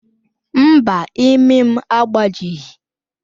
Mba, imi m agbajighị